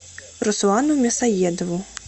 руслану мясоедову